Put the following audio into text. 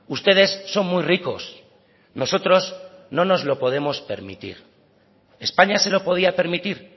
ustedes son muy ricos nosotros no nos lo podemos permitir españa se lo podía permitir